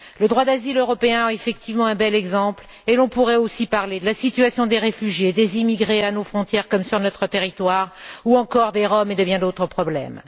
Le droit d'asile européen est effectivement un bel exemple et l'on pourrait aussi parler de la situation des réfugiés, des immigrés à nos frontières comme sur notre territoire, ou encore des Roms et de bien d'autres problèmes.